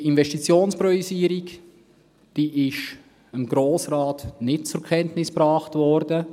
Diese Investitionspriorisierung ist dem Grossen Rat nicht zur Kenntnis gebracht worden.